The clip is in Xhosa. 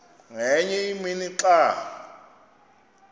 ngenye imini xa